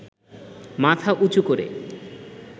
মাথা উঁচু করে